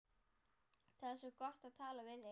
Það er svo gott að tala við þig.